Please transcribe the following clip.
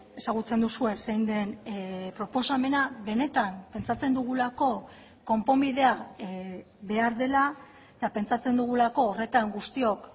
ezagutzen duzue zein den proposamena benetan pentsatzen dugulako konponbidea behar dela eta pentsatzen dugulako horretan guztiok